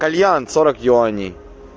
кальян сорок юаней